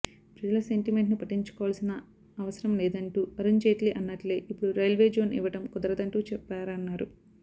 ప్రజల సెంటిమెంట్ను పట్టించుకోవాల్సిన అవసరం లేదంటూ అరుణ్ జైట్లీ అన్నట్లే ఇప్పుడు రైల్వే జోన్ ఇవ్వడం కుదరదంటూ చెప్పారన్నారు